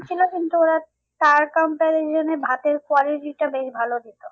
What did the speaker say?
নিচ্ছিলো কিন্তু ওরা ভাতের quality টা বেশ ভালো দিতো।